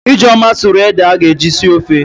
Ijeoma sụrụ ede a ga-eji sie ofe.